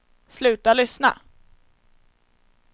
sluta lyssna